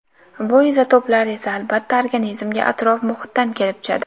Bu izotoplar esa albatta organizmga atrof-muhitdan kelib tushadi.